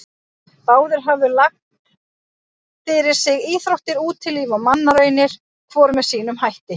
Báðir höfðu lagt fyrir sig íþróttir, útilíf og mannraunir, hvor með sínum hætti.